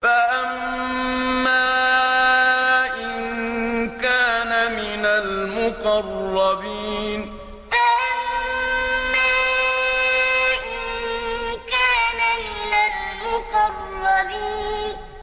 فَأَمَّا إِن كَانَ مِنَ الْمُقَرَّبِينَ فَأَمَّا إِن كَانَ مِنَ الْمُقَرَّبِينَ